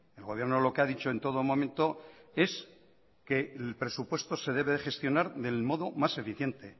el gobierno lo que ha dicho en todo momento es que el presupuesto se debe de gestionar del modo más eficiente